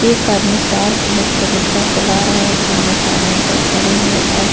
एक आदमी साल ओढ़ कर रिक्शा चला रहा है | एक औरत साल ओढ़ कर खड़ी है और --